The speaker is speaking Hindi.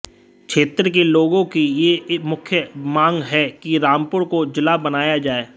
क्षेत्र के लोगों की यह मुख्य मांग है कि रामपुर को जिला बनाया जाए